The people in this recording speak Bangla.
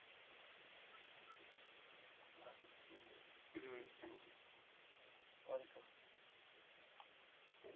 hmm thank youwelcome